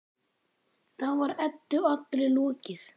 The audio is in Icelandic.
Þá var Eddu allri lokið.